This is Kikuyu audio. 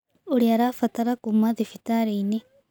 Ũria arabatara kuuma thibitarĩ-ini